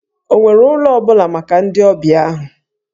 Ọ nwere ụlọ ọ bụla maka ndị ọbịa ahụ?